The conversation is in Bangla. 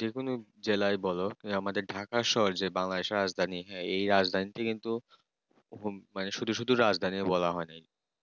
যেকোনো জেলায় বল আমাদের ঢাকা শহরে Bangladesh র রাজধানী এই রাজধানীতে কিন্তু শুধু রাজধানী বলা হয় না।